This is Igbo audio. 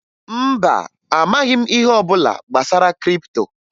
Mba, amaghị m ihe ọbụla gbasara kripto